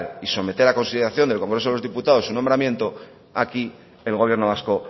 y someter a consideración del congreso de los diputados un nombramiento aquí el gobierno vasco